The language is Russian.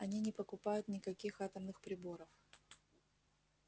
они не покупают никаких атомных приборов